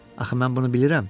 Axı mən bunu bilirəm?